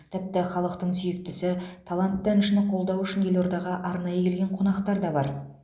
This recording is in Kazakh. тіпті халықтың сүйіктісі талантты әншіні қолдау үшін елордаға арнайы келген қонақтар да бар